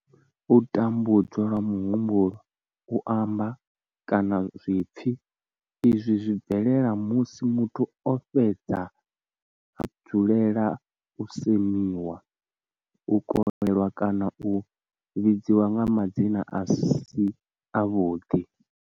U tambudzwa lwa muhumbulo, u amba, kana zwipfi izwi zwi bvelela musi muthu o fhedza u dzulela u semiwa, u kolelwa kana u vhidzwa nga madzina a si avhuḓi.